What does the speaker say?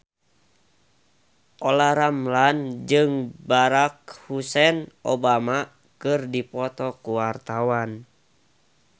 Olla Ramlan jeung Barack Hussein Obama keur dipoto ku wartawan